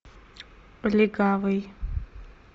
легавый